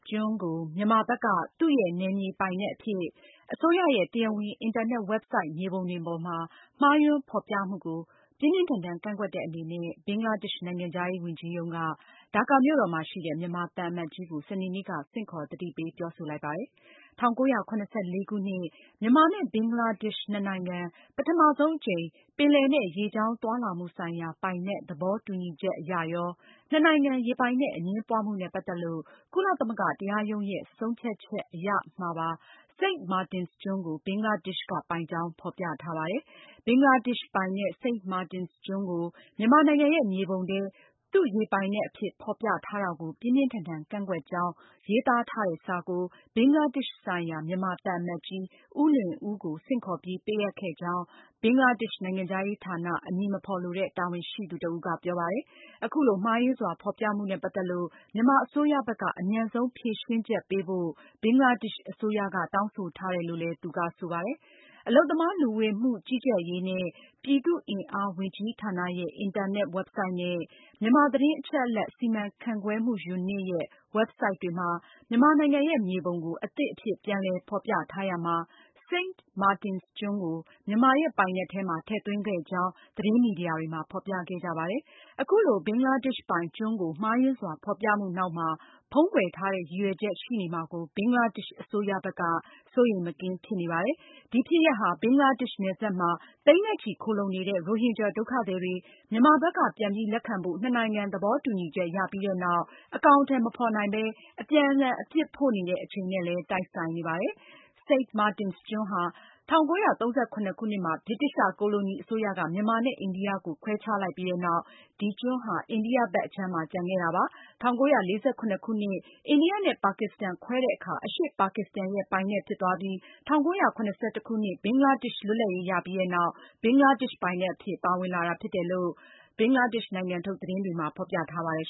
ကျွန်းကို မြန်မာဘက်က သူ့ရဲ့နယ်မြေပိုင်နက်အဖြစ် အစိုးရရဲ့တရားဝင် အင်တာ နက် ဝက်ဘ်ဆိုဒ် မြေပုံတွေပေါ်မှာ မှားယွင်းဖေါ်ပြမှုကို ဘင်္ဂလားဒေ့ရှ်အစိုးရက ပြင်းပြင်းထန်ထန် ကန့်ကွက်တဲ့ အနေနဲ့ ဒါကာမြို့တော်မှာရှိတဲ့ မြန်မာသံအမတ်ကြီးကို စနေနေ့က ဆင့်ခေါ် သတိပေးပြောဆိုလိုက်ပါတယ်။ ၁၉၇၄ ခုနှစ် မြန်မာနဲ့ဘင်္ဂလားဒေ့ရှ်နှစ်နိုင်ငံ ပထမဆုံးအကြိမ် ပင်လယ်နဲ့ ရေကြောင်းသွားလာမှု ဆိုင်ရာ ပိုင်နက် သဘောတူညီချက်မှာရော၊ နှစ်နိုင်ငံ ရေပိုင်နက်အငြင်းပွားမှုနဲ့ပတ်သက်လို့ ကုလသမဂ္ဂ တရားရုံးရဲ့ ဆုံးဖြတ်ချက် အရရော Saint Martin’s ကျွန်းကို ဘင်္ဂလားဒေ့ရှ်က ပိုင်ကြောင်း ဖေါ်ပြထားတာပါ။ ဘင်္ဂလားဒေ့ရှ်ပိုင်တဲ့ St Martin’s ကျွန်းကို မြန်မာနိုင်ငံရဲ့မြေပုံထဲ သူ့ရေပိုင်နက်အဖြစ် ဖေါ်ပြထား တာကို ပြင်းပြင်းထန်ထန်ကန့်ကွက်ကြောင်း ရေးသားထားတဲ့စာကို ဘင်္ဂလားဒေ့ရှ်ဆိုင်ရာ မြန်မာသံ အမတ်ကြီး ဦးလွင်ဦးကိုဆင့်ခေါ်ပြီး ပေးအပ်ခဲ့ကြောင်း ဘင်္ဂလားဒေ့ရှ် နိုင်ငံခြားရေးဌာန အမည်မဖေါ် လိုတဲ့ တာဝန်ရှိသူ တဦးက ပြောပါတယ်။ အခုလို မှားယွင်းစွာဖေါ်ပြမှုနဲ့ပတ်သက်လို့ မြန်မာအစိုးရ ဘက်က အမြန်ဆုံးဖြေရှင်းချက် ပေးဖို့ ဘင်္ဂလားဒေ့ရှ်အစိုးရ တောင်းဆိုထားတယ်လို့လည်း သူကဆိုပါတယ်။ အလုပ်သမား လူဝင်မှုကြီးကြပ်ရေးနှင့် ပြည်သူ့အင်အားဝန်ကြီးဌာနရဲ့ အင်တာနက်ဝက်ဘ်ဆိုဒ် dop.gov.mm နဲ့ မြန်မာသတင်းအချက်အလက် စီမံခန့်ခွဲမှုယူနစ် (MIMU) ရဲ့ ဝက်ဘ်ဆိုဒ် themimu.info တွေမှာ မြန်မာ နိုင်ငံရဲ့မြေပုံကို အသစ်အဖြစ်ပြန်လည် ဖေါ်ပြထားရာမှာ St. Marin’s ကျွန်း ကို မြန်မာရဲ့ပိုင်နက်ထဲမှာ ထည့်သွင်းခဲ့ကြောင်း သတင်းမီဒီယာတွေမှာ ဖေါ်ပြခဲ့ကြပါတယ်။ အခုလို ဘင်္ဂလားဒေ့ရှ်ပိုင်ကျွန်းကို မှားယွင်းစွာ ဖေါ်ပြမှုနောက်မှာ ဖုံးကွယ်ထားတဲ့ ရည်ရွယ်ချက် ရှိနေမှာကို ဘင်္ဂလားဒေ့ရှ်အစိုးရဘက်က စိုးရိမ်မကင်း ဖြစ်နေပါတယ်။ ဒီဖြစ်ရပ်ဟာ ဘင်္ဂလားဒေ့ရှ်နယ်စပ်မှာ သိန်းနဲ့ချီ ခိုလှုံနေတဲ့ ရိုဟင်ဂျာဒုက္ခသည်တွေ မြန်မာဘက်က ပြန်ပြီး လက်ခံဖို့ နှစ်နိုင်ငံ သဘောတူညီချက်ရပြီးနောက် အကောင်အထည်မဖေါ်နိုင်ဘဲ အပြန် အလှန် အပြစ်ဖို့နေတဲ့ အချိန်နဲ့လည်း တိုက်ဆိုင်နေပါတယ်။ Saint Martin’s ကျွန်းဟာ ၁၉၃၇ နှစ်မှာ ဗြိတိသျှကိုလိုနီအစိုးရက မြန်မာနဲ့အိန္ဒိယကို ခွဲခြားလိုက်ပြီးနောက် ဒီကျွန်းဟာ အိန္ဒိယဘက်အခြမ်းမှာ ကျန်ခဲ့တာဖြစ်ပါတယ်။ ၁၉၄၇ ခုနှစ် အိန္ဒိယနဲ့ ပါကစ္စတန်ခွဲတဲ့အခါ အရှေ့ ပါကစ္စတန်ရဲ့ ပိုင်နက်ဖြစ်သွားပြီး ၁၉၇၁ ခုနှစ် ဘင်္ဂလားဒေ့ရှ်လွတ်လပ်ရေးရပြီးနောက် ဘင်္ဂလားဒေ့ရှ် ပိုင်နက် အဖြစ် ပါဝင်လာတာဖြစ်တယ်လို့ ဘင်္ဂလားဒေ့ရှ်နိုင်ငံထုတ် သတင်းတွေမှာ ဖေါ်ပြထားပါတယ်